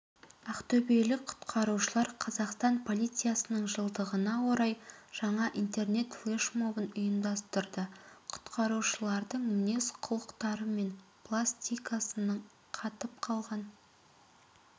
ақтөбелік құтқарушылар қазақстан полициясының жылдығына орай жаңа интернет-флешмобын ұйымдастырды құтқарушылардың мінез-құлықтары мен пластикасының қатып қалған